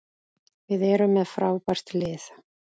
Við erum með frábært lið.